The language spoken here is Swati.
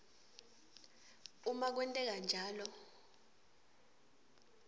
uma kwenteka njalo